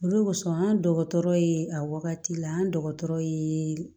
Olu kosɔn an dɔgɔtɔrɔ ye a wagati la an dɔgɔtɔrɔ ye